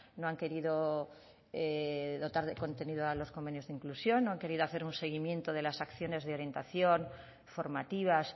no han querido dotar contenido a los convenios de inclusión no han querido hacer un seguimiento de las acciones de orientación formativas